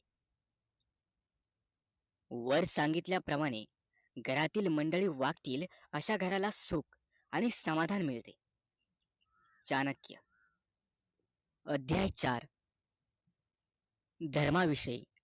वर सांगितल्या प्रमाणे घरातील मंडळी वागतील अशा घराला सुख आणि समाधान मिळते चाणक्य अध्याय चार धर्माविषयी